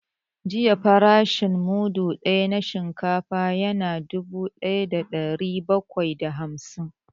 Jiya farashin mudu ɗaya na shinkafa ya na dubu ɗaya da ɗari bakwai da hamsin